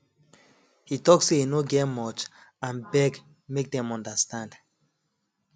he talk say e no get much and beg make dem understand